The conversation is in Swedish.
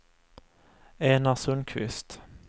Enar Sundqvist